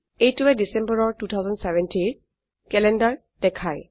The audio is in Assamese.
এইটোৱে ডিসেম্বৰৰ 2070ৰ ক্যালেন্ডাৰ দেখায়